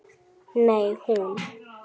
Nei, hún.